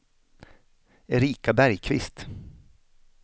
Erika Bergkvist